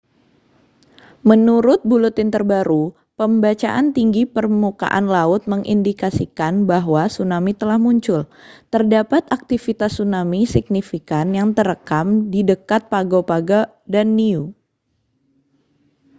menurut buletin terbaru pembacaan tinggi permukaan laut mengindikasikan bahwa tsunami telah muncul terdapat aktivitas tsunami signifikan yang terekam di dekat pago pago dan niue